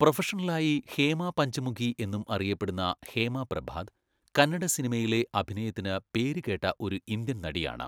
പ്രൊഫഷണലായി ഹേമ പഞ്ചമുഖി എന്നും അറിയപ്പെടുന്ന ഹേമ പ്രഭാത്, കന്നഡ സിനിമയിലെ അഭിനയത്തിന് പേരുകേട്ട ഒരു ഇന്ത്യൻ നടിയാണ്.